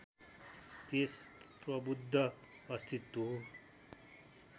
त्यस प्रवुद्ध अस्तित्व